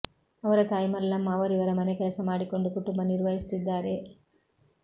ಅವರ ತಾಯಿ ಮಲ್ಲಮ್ಮ ಅವರಿವರ ಮನೆ ಕೆಲಸ ಮಾಡಿಕೊಂಡು ಕುಟುಂಬ ನಿರ್ವಹಿಸುತ್ತಿದ್ದಾರೆ